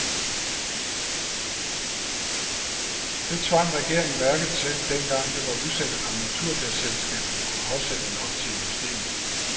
Det tvang regeringen værket til, dengang det var usikkert, om naturgasselskaberne kunne afsætte nok til industrien.